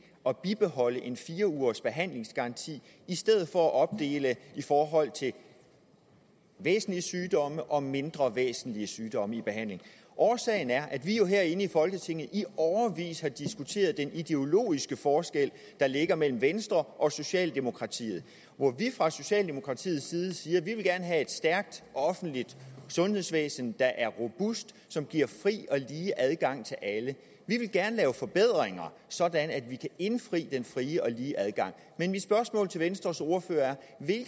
at bibeholde en fire ugersbehandlingsgaranti i stedet for at opdele i forhold til væsentlige sygdomme og mindre væsentlige sygdomme i behandlingen årsagen er at vi jo herinde i folketinget i årevis har diskuteret den ideologiske forskel der er mellem venstre og socialdemokratiet hvor vi fra socialdemokratiets side siger at vi gerne vil have et stærkt offentligt sundhedsvæsen der er robust som giver fri og lige adgang til alle vi vil gerne lave forbedringer sådan at vi kan indfri den fri og lige adgang men mit spørgsmål til venstres ordfører er